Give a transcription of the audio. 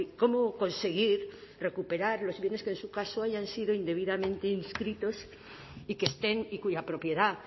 cómo conseguir recuperar los bienes que en su caso hayan sido indebidamente inscritos y que estén y cuya propiedad